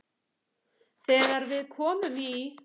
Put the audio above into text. Þegar við komum í